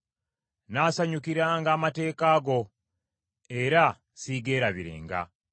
Nnaasanyukiranga amateeka go, era siigeerabirenga.